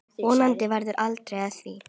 Vonandi verður aldrei af því.